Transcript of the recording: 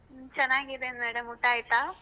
ಹ್ಮ್ ಚೆನ್ನಾಗಿದೆನೆ madam ಊಟ ಆಯ್ತಾ?